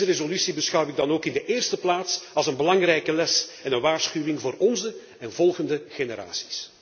Deze resolutie beschouw ik dan ook in de eerste plaats als een belangrijke les en een waarschuwing voor onze en volgende generaties.